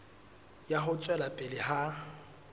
ya ho tswela pele ha